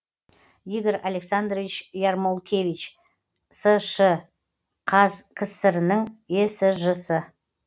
игорь александрович ярмолкевич сш қазкср інің есж сы